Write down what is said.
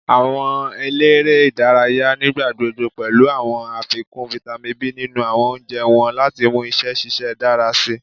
Awọn elere idaraya nigbagbogbo pẹlu awọn afikun Vitamin B ninu awọn ounjẹ wọn lati mu iṣẹ ṣiṣe dara sii